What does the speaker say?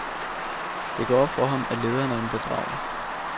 Det går op for ham, at lederen er en bedrager.